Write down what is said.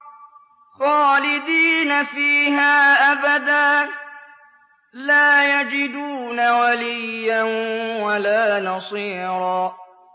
خَالِدِينَ فِيهَا أَبَدًا ۖ لَّا يَجِدُونَ وَلِيًّا وَلَا نَصِيرًا